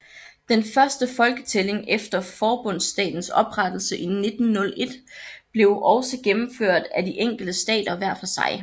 Den første folketælling efter forbundsstatens oprettelse i 1901 blev også gennemført af de enkelte stater hver for sig